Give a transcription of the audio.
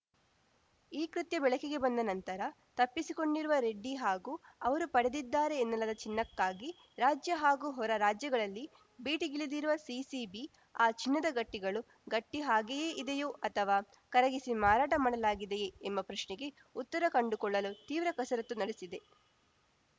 ಈ ಕೃತ್ಯ ಬೆಳಕಿಗೆ ಬಂದ ನಂತರ ತಪ್ಪಿಸಿಕೊಂಡಿರುವ ರೆಡ್ಡಿ ಹಾಗೂ ಅವರು ಪಡೆದಿದ್ದಾರೆ ಎನ್ನಲಾದ ಚಿನ್ನಕ್ಕಾಗಿ ರಾಜ್ಯ ಹಾಗೂ ಹೊರ ರಾಜ್ಯಗಳಲ್ಲಿ ಬೇಟೆಗಿಳಿದಿರುವ ಸಿಸಿಬಿ ಆ ಚಿನ್ನದ ಗಟ್ಟಿಗಳು ಗಟ್ಟಿಹಾಗೆಯೇ ಇದೆಯೋ ಅಥವಾ ಕರಗಿಸಿ ಮಾರಾಟ ಮಾಡಲಾಗಿದೆಯೇ ಎಂಬ ಪ್ರಶ್ನೆಗೆ ಉತ್ತರ ಕಂಡುಕೊಳ್ಳಲು ತೀವ್ರ ಕಸರತ್ತು ನಡೆಸಿದೆ